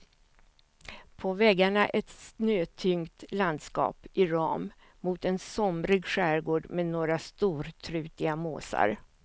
På väggarna ett snötyngt landskap i ram mot en somrig skärgård med några stortrutiga måsar.